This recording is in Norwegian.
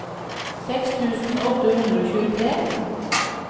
seks tusen åtte hundre og tjuetre